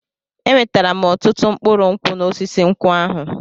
Enwetara m ọtụtụ mkpụrụ nkwụ n'osisi nkwụ ahụ.